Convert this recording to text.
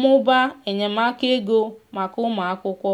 mụbaa enyemaka ego maka ụmụ akwụkwo.